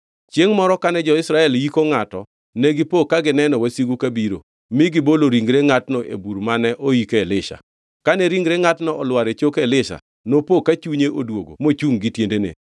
Chiengʼ moro kane jo-Israel yiko ngʼato, negipo ka gineno wasigu kabiro, mi negibolo ringre ngʼatno e bur mane oike Elisha. Kane ringre ngʼatno olwar e choke Elisha, nopo ka chunye odwogo mochungʼ gi tiendene.